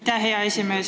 Aitäh, hea esimees!